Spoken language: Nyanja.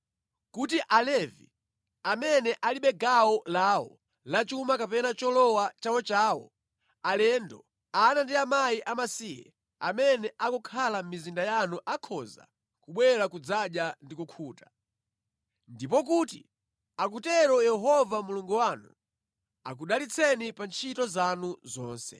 kuti Alevi (amene alibe gawo lawo la chuma kapena cholowa chawochawo), alendo, ana ndi akazi amasiye, amene akukhala mʼmizinda yanu akhoza kubwera kudzadya ndi kukhuta. Ndipo kuti akutero Yehova Mulungu wanu akudalitseni pa ntchito zanu zonse.